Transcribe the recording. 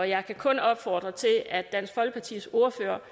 jeg kan kun opfordre til at dansk folkepartis ordfører